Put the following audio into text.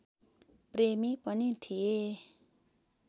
प्रेमी पनि थिए